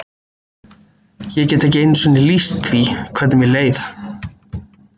Ég get ekki einu sinni lýst því hvernig mér leið.